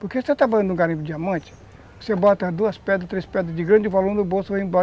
Porque se você está banhando em um garimpo de diamante, você bota duas pedras, três pedras de grande volume no bolso e vai embora.